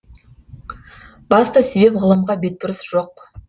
басты себеп ғылымға бетбұрыс жоқ